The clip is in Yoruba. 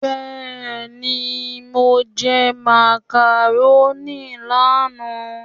Béeni mo jẹ macaroni lánàá?